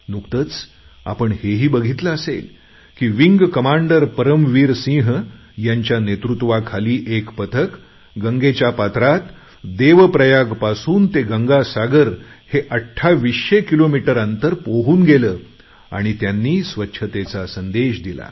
नुकतेच आपण हेही बघितले असेल की विंग कमांडर परमवीर सिंह यांच्या नेतृत्वाखाली एक पथक गंगेच्या पात्रात देवप्रयागपासून ते गंगासागर हे 2800 किलोमीटर अंतर पोहून गेले आणि त्यांनी स्वच्छतेचा संदेश दिला